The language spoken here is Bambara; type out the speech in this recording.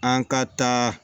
An ka taa